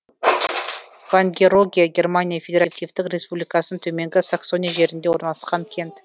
вангероге германия федеративтік республикасының төменгі саксония жерінде орналасқан кент